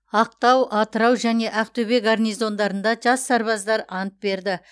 ақтау атырау және ақтөбе гарнизондарында жас сарбаздар ант берді